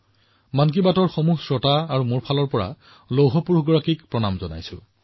মন কী বাতৰ প্ৰতিজন শ্ৰোতাৰ হৈ আৰু মোৰ হৈ মই লৌহ পুৰুষগৰাকীৰ ওচৰত প্ৰণাম জনাইছো